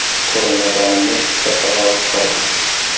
Ko‘rinmaganimning ikkita sababi bor edi.